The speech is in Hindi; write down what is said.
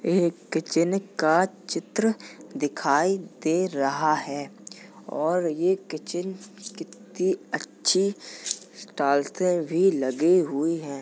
एक किचन का चित्र दिखाई दे रहा है और ये किचन कित्ती अच्छी टालते भी लगी हुई है।